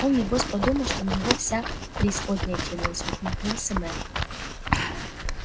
он небось подумал что на него вся преисподняя кинулась ухмыльнулся мэтт